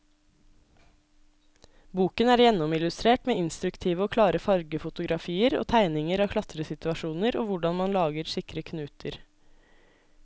Boken er gjennomillustrert med instruktive og klare fargefotografier og tegninger av klatresituasjoner og hvordan man lager sikre knuter.